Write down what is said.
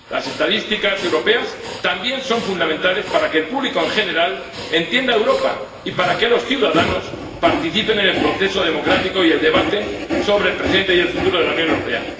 Las estadísticas europeas también son fundamentales para que el público en general entienda Europa y para que los ciudadanos participen en el proceso democrático y el debate sobre el presente y el futuro de la Unión Europea.